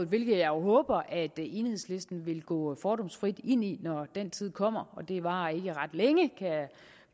hvilket jeg jo håber at enhedslisten vil gå fordomsfrit ind i når den tid kommer og det varer ikke ret længe kan jeg